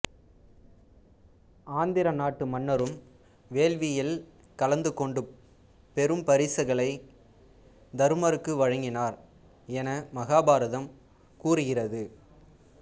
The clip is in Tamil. ஆந்திர நாட்டு மன்னரும் வேள்வியில் கலந்து கொண்டு பெரும் பரிசுகளை தருமருக்கு வழங்கினார் என மகாபாரதம் கூறுகிறது